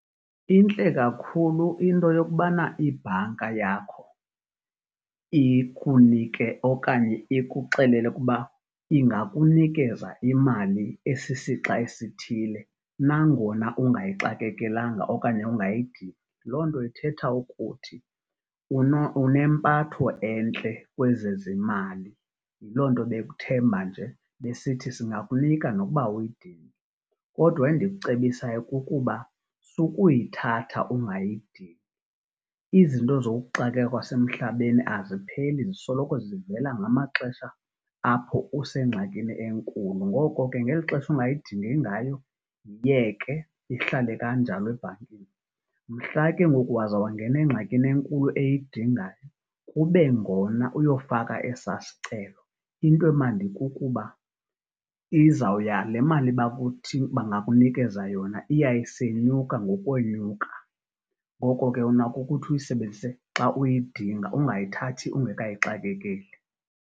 Intle kakhulu into yokubana ibhanka yakho ikunike okanye ikuxelele ukuba ingakunikeza imali esisixa esithile nangona ungayixakekelanga okanye ungayidingi. Loo nto ithetha ukuthi unempatho entle kwezezimali. Yiloo nto bekuthemba nje besithi singakunika nokuba awuyidingi. Kodwa endikucebisayo kukuba sukuyithatha ungayidingi. Izinto zokuxakeka kwasemhlabeni azipheli zisoloko zivela ngamaxesha apho usengxakini enkulu. Ngoko ke, ngeli xesha ungayidingi ngayo, yiyeke ihlale kanjalo ebhankini. Mhla ke ngoku waza wangena engxakini enkulu eyidingayo, kube ngona uyofaka esaa sicelo. Into emnandi kukuba izawuya le mali bangakunikeza yona iya isenyuka ngokwenyuka. Ngoko ke, unako ukuthi uyisebenzise xa uyidinga ungayithathi ungekayixakekeli.